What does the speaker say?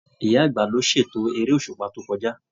Ìyá àgbà ló ṣ'ètò èrè òṣùpá to kọjá.